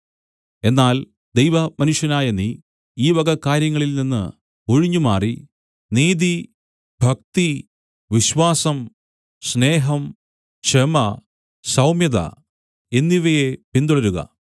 എന്നാൽ ദൈവമനുഷ്യനായ നീ ഈ വക കാര്യങ്ങളിൽ നിന്ന് ഒഴിഞ്ഞുമാറി നീതി ഭക്തി വിശ്വാസം സ്നേഹം ക്ഷമ സൗമ്യത എന്നിവയെ പിന്തുടരുക